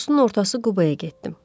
Avqustun ortası Qubaya getdim.